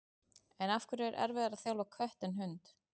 En af hverju er erfiðara að þjálfa kött en hund?